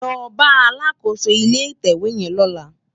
Lò bá àlákósó ilé itèwé yèn lòlá